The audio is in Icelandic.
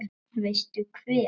Veistu hver